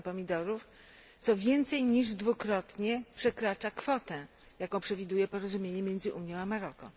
ton pomidorów, co więcej niż dwukrotnie przekracza kwotę, jaką przewiduje porozumienie między Unią a Maroko.